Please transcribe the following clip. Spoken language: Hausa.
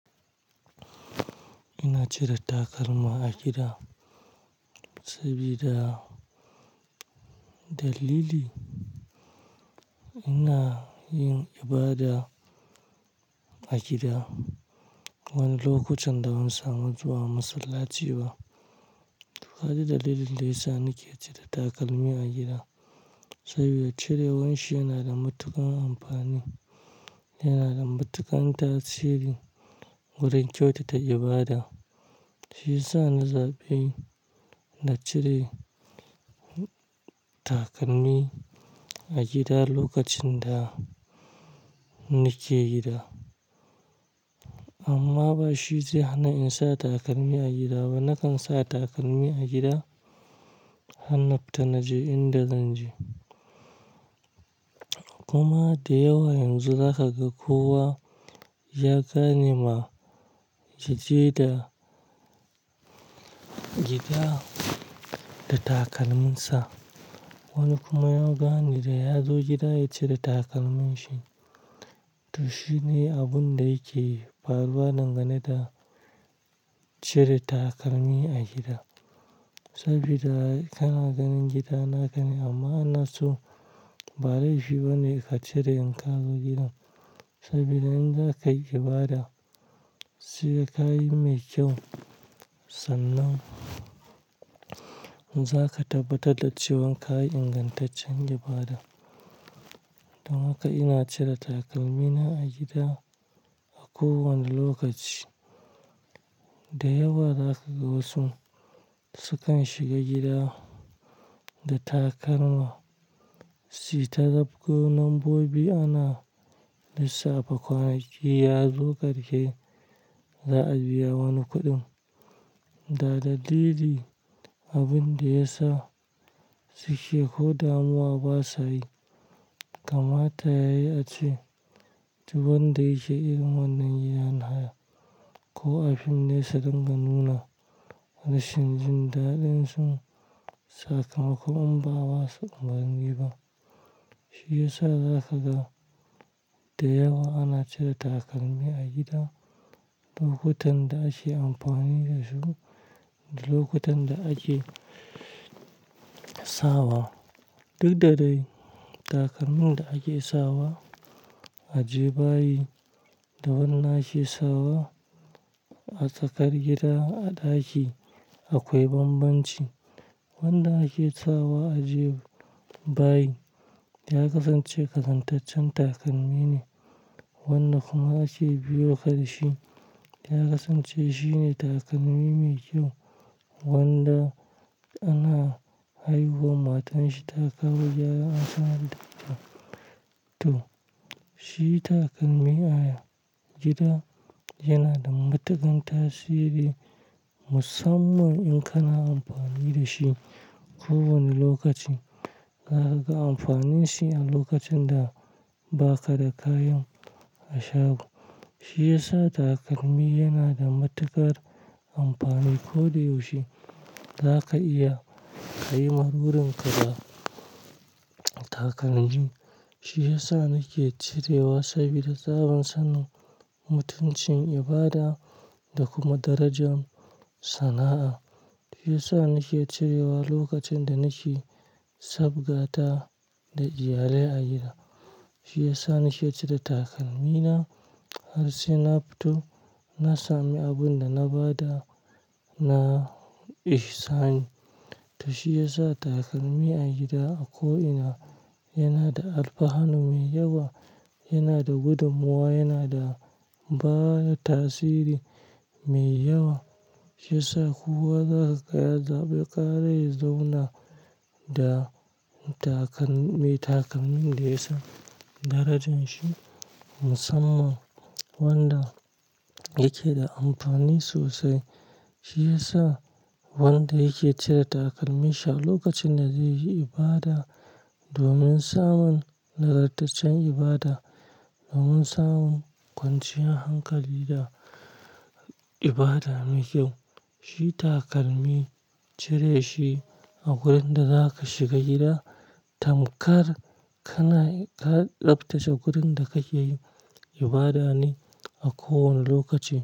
Ina cire takalma a gida sabida dalili. Ina yin ibada a gida wani lokutan da ban samu zuwa masallaci ba. To, ka ga dalilin da yasa nake cire takalmi a gida. Sabida cirewan shi yana da matuƙar amfani, yana da matuƙar tasiri wurin kyautata ibada. Shi ya sa na zaɓi na cire takalmi a gida lokacin da nake gida. Amma ba shi zai hana in sa takalmi a gida ba. Nakan sa takalmi a gida har na fita na je inda zan je. Kuma da yawa yanzu za ka ga kowa ya gane ma ya je da gida da takalminsa. Wani kuma ya gane da ya zo gida ya cire takalminshi. To, shi ne abun da yake faruwa dangane da cire takalmi a gida. Sabida kana ganin gida na kane amma inna so ba laifi bane ka cire in ka zo gidan. Sabida in za ka yi ibada, sai ka yi mai kyau sannan za ka tabbatar da cewan ka yi ingantaccen ibada. Don haka ina cire takalmina a gida a kowane lokaci. Da yawa za ka ga wasu sukan shiga gida da takalma. Su yi ta zapgo nan bobi ana lissafa kwanaki ya zo karshe za a biya wani kuɗin. Da dalili abin da ya sa su ke ko damuwa ba sa yi. Kamata yayi ace, duk wan da yake irin wannan yanha ko afim ne sudunga nuna rashin jin daɗin su sakamakon bawa su umarnin yi ba. Shi ya sa za ka ga da yawa ana cire takalmi a gida lokutan da ake amfani da su da lokutan da ake sawa. Duk da dai takalmin da ake sawa a ajiye bayi da wanda ake sawa a tsakar gida a ɗaki akwai banbanci. Wanda ake sawa a ajiye bayi ya kasance kazantaccen takalmi ne. Wanda kuma ake biyoka da shi ya kasance shine takalmi mai kyau wanda ana haihuwa matarshi ta kawo yaron an sanya da ita. To, shi takalmi a gida yana da matuƙan tasiri musamman in kana amfani da shi kowane lokaci. Za ka ga amfanin shi a lokacin da ba ka da kayan a sha. Shi ya sa takalmi yana da matuƙar amfani ko da yaushe. Za ka iya ka yi murmurun ka da takalmi. Shi ya sa nake cirewa sabida tsaban sanin mutuncin ibada da kuma darajar sana'a. Shi ya sa nake cirewa lokacin da nake sabgata da iyalai a gida. Shi ya sa nake cire takalmina har sai na fito na sami abin da na bada na ihsani. To, shi ya sa takalmi a gida a ko'ina yana da alfahanu mai yawa, yana da gudummowa, yana da bada tasiri mai yawa. Shi ya sa kowa za ka ga ya zaɓi ƙara ya zauna da takalmi takalmin da ya san darajan shi musamman wanda yake da amfani sosai. Shi ya sa wanda yake cire takalmin shi a lokacin da zai yi ibada domin samun nagartaccen ibada, domin samun kwanciyar hankali da ibada mai kyau. Shi takalmi cire shi a wurin da za ka shiga gida. Tamkar kana ka tsaftace wurin da kake yi ibada ne a kowane lokaci.